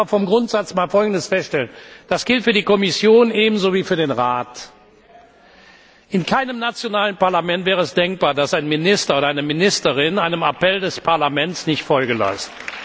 Ich will aber grundsätzlich einmal Folgendes feststellen, das gilt für die Kommission ebenso wie für den Rat In keinem nationalen Parlament wäre es denkbar, dass ein Minister oder eine Ministerin einem Appell des Parlaments nicht Folge leistet.